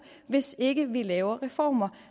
hvis ikke vi laver reformer